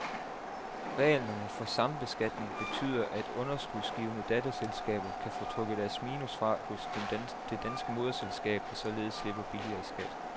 Reglerne om sambeskatning betyder, at underskudsgivende datterselskaber kan få trukket deres minus fra hos det danske moderselskab, der således slipper billigere i skat.